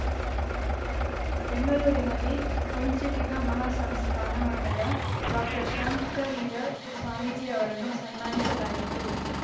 ಬೆಂಗಳೂರಿನಲ್ಲಿ ಕುಂಚಿಟಿಗ ಮಹಾಸಂಸ್ಥಾನ ಮಠದ ಡಾಕ್ಟರ್ಶಾಂತವೀರ ಸ್ವಾಮೀಜಿ ಅವರನ್ನು ಸನ್ಮಾನಿಸಲಾಯಿತು